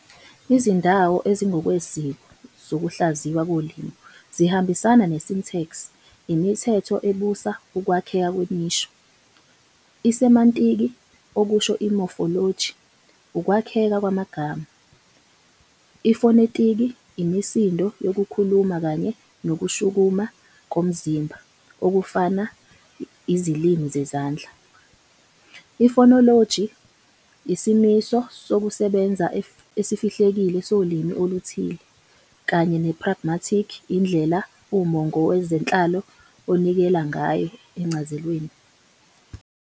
Izindawo ezingokwesiko zokuhlaziywa kolimi zihambisana ne-syntax, imithetho ebusa ukwakheka kwemisho, i-semantiki, okusho, i-mofoloji, ukwakheka kwamagama, ifonetiki, imisindo yokukhuluma kanye nokushukuma komzimba okufana Izilimi zezandla, i-fonoloji, isimiso sokusebenza esifihlekile solimi oluthile, kanye ne-pragmatiki, indlela umongo wezenhlalo onikela ngayo enchazelweni.